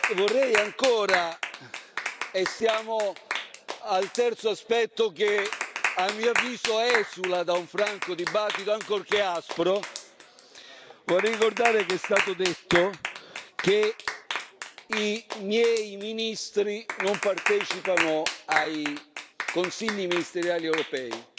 Vorrei ancora ricordare e siamo al terzo aspetto che a mio avviso esula da un franco dibattito, ancorché aspro che è stato detto che i miei ministri non partecipano ai Consigli ministeriali europei,